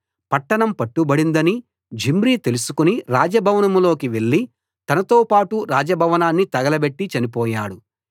పట్టణం పట్టుబడిందని జిమ్రీ తెలుసుకుని రాజభవనంలోకి వెళ్లి తనతోపాటు రాజభవనాన్ని తగలబెట్టి చనిపోయాడు